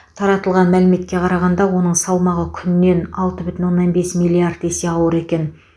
таратылған мәліметке қарағанда оның салмағы күннен алты бүтін оннан бес миллиард есе ауыр екен